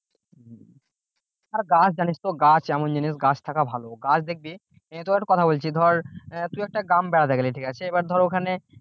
আর গাছ জানিস তো গাছ এমন জিনিস গাছ থাকা ভালো গাছ দেখবি তোকে একটা কথা বলছি যে ধর আহ তুই একটা গ্রাম বেড়াতে গেলি ঠিক আছে এবার ধর ওখানে